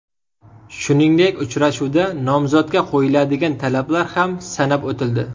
Shuningdek, uchrashuvda nomzodga qo‘yiladigan talablar ham sanab o‘tildi.